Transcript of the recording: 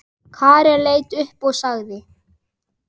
Karen leit upp og sagði